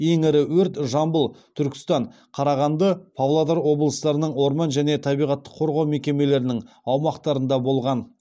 ең ірі өрт жамбыл түркістан қарағанды павлодар облыстарының орман және табиғатты қорғау мекемелерінің аумақтарында болған